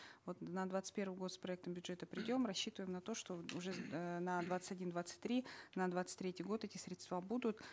вот на двадцать первый год с проектом бюджета придем рассчитываем на то что уже э на двадцать один двадцать три на двадцать третий год эти средства будут